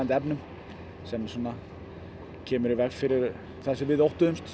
efnum sem kemur í veg fyrir það sem við óttuðumst